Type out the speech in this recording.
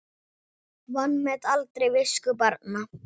Vanmet aldrei visku barna.